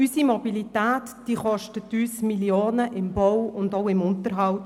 Unsere Mobilität kostet uns Millionen im Bau und Unterhalt.